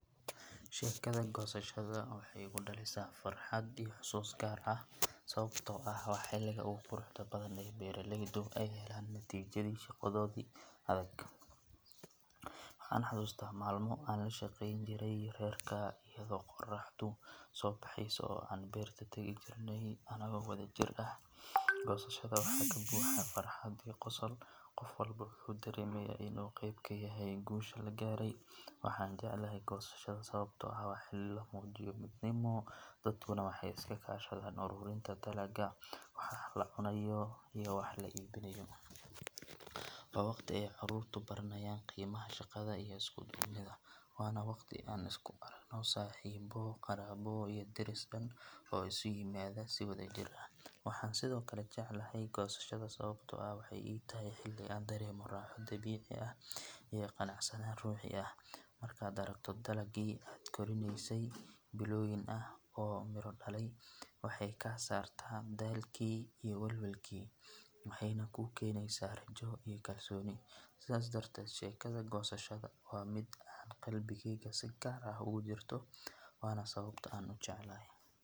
Sheekada goosashada waxay igu dhalisaa farxad iyo xusuus gaar ah sababtoo ah waa xilliga ugu quruxda badan ee beeraleydu ay helaan natiijadii shaqadoodii adag. Waxaan xasuustaa maalmo aan la shaqeyn jiray reerka, iyadoo qorraxdu soo baxeyso oo aan beerta tagi jirnay anagoo wadajir ah. Goosashada waxaa ka buuxa farxad iyo qosol, qof walba wuxuu dareemayaa in uu qeyb ka yahay guusha la gaaray. Waxaan jeclahay goosashada sababtoo ah waa xilli la muujiyo midnimo, dadkuna waxay iska kaashadaan ururinta dalagga, wax la cunayo iyo wax la iibinayo. Waa waqti ay carruurtu baranayaan qiimaha shaqada iyo isku duubnida, waana waqti aan isku aragno saaxiibo, qaraabo iyo deris dhan oo isu yimaada si wadajir ah. Waxaan sidoo kale jeclahay goosashada sababtoo ah waxay ii tahay xilli aan dareemo raaxo, dabiici ah, iyo qanacsanaan ruuxi ah. Markaad aragto dalaggii aad korinaysay bilooyin ah oo miro dhalay, waxay kaa saartaa daalkii iyo welwelkii, waxayna kuu keenaysaa rajo iyo kalsooni. Sidaas darteed, sheekada goosashada waa mid aan qalbigayga si gaar ah ugu jirto, waana sababta aan u jecelahay.